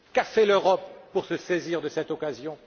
Qu'a fait l'Europe pour se saisir de cette occasion?